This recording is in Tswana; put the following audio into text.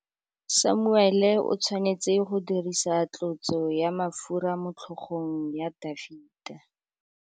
Samuele o tshwanetse go dirisa tlotsô ya mafura motlhôgong ya Dafita.